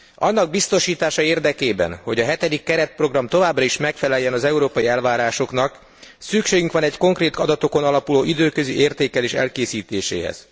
Annak biztosítása érdekében, hogy a hetedik keretprogram továbbra is megfeleljen az európai elvárásoknak, szükségünk van egy konkrét adatokon alapuló időközi értékelés elkészítéséhez.